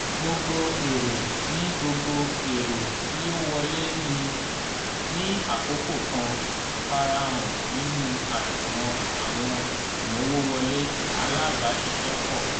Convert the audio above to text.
gbogbo èrè tí gbogbo èrè tí ó wọlé ní àkókò kan farahan nínú àṣùwọ̀n àwọn ìmowòwọlé alábàáṣiṣẹ́pọ̀